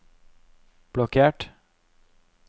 blokkert